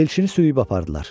Elçini sürüb apardılar.